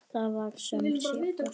Það var sem sé frost.